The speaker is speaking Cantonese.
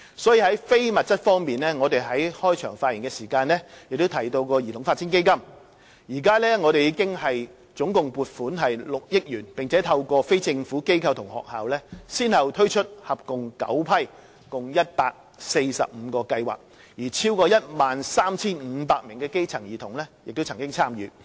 所以，在非物質方面，我在開場發言提到的兒童發展基金，至今共獲撥款6億元，並透過非政府機構及學校先後推出合共9批共145個計劃，超過 13,500 名基層兒童曾經參與。